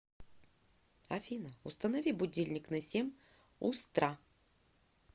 афина установи будильник на семь устра